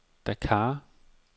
Dakar